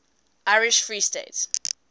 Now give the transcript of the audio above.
irish free state